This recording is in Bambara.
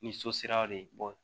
Ni so sera de